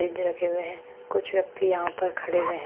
Ridge रखे हुए हैं कुछ व्यक्ति यहां पर खड़े हुए हैं।